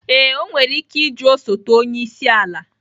Ee, o nwere ike ịjụ osote onye isi ala